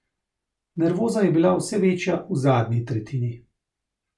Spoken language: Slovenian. Nervoza je bila vse večja v zadnji tretjini.